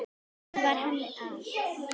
Hún var henni allt.